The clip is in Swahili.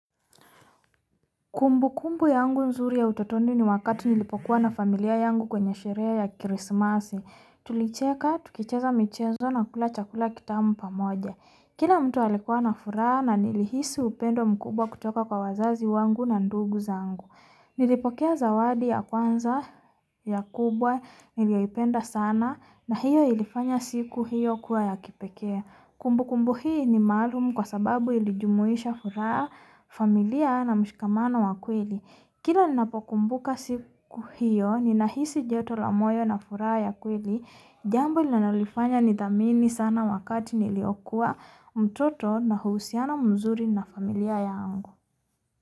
Kumbukumbu yangu unzuri ya utotonu ni wakatu nilipokuwa na familia yangu kwenye sherea ya Christmasi, tulicheka tukicheza michezo na kula chakula kitamu pamoja. Kina mtu alikua na furaha na nilihisi wupendo mkubwa kutoka kwa wazazi wangu na ndugu zangu. Nilipokia zawadi ya kwanza ya kubwa, niliya ipenda sana na hiyo ilifanya siku hiyo kua ya kipekea. Kumbukumbu hii ni maalum kwa sababu ilijumuisha furaha, familia na mshkama na wa kweli. Kila nina pokumbuka siku hiyo, nina hisi joto la moyo na furaha ya kweli, jambo ilinana lifanya nidhamini sana wakati niliokuwa mtoto na huusiana mzuri na familia ya angu.